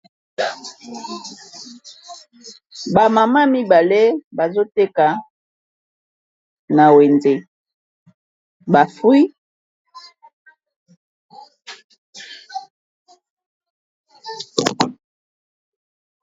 Ba mama mibale bazoteka na wenze ba fruit.